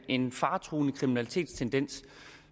en faretruende kriminalitetstendens